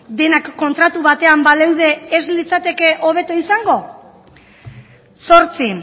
denak kontratu batean baleude ez litzateke hobeto izango zortzi